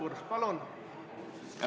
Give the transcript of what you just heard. Aitäh!